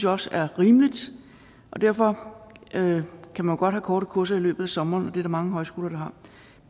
også er rimeligt og derfor kan man godt have korte kurser i løbet af sommeren og det er der mange højskoler